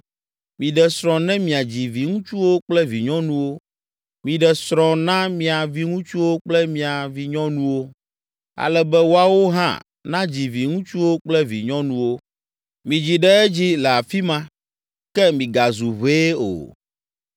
Miɖe srɔ̃ ne miadzi viŋutsuwo kple vinyɔnuwo. Miɖe srɔ̃ na mia viŋutsuwo kple mia vinyɔnuwo, ale be woawo hã nadzi viŋutsuwo kple vinyɔnuwo. Midzi ɖe edzi le afi ma ke migazu ʋɛe o.